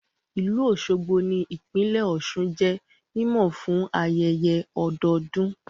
Ìlú Òṣogbo ní ìpínlẹ̀ Ọ̀sun jẹ́ mímọ̀ fún ayẹyẹ ọdọdún